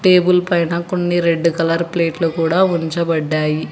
Table పైన కొన్ని red colour ప్లేట్లు కుడా ఉంచబడ్డాయి.